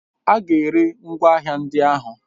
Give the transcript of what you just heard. Aga eri ngwa agha ndị ahụ